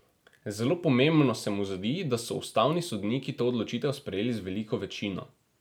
Zelo pomembno se mu zdi, da so ustavni sodniki to odločitev sprejeli z veliko večino.